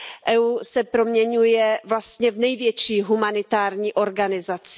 EU se proměňuje vlastně v největší humanitární organizaci.